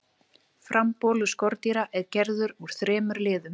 frambolur skordýra er gerður úr þremur liðum